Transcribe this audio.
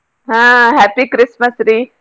ಆಹ್ happy Christmas ರಿ.